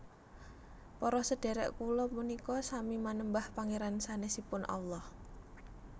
Para sedherek kula punika sami manembah Pangeran sanesipun Allah